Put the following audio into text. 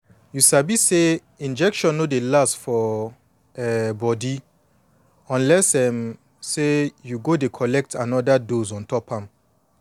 you sabi say injection no dey last for um body unless um say you go dey collect anoda dose ontop am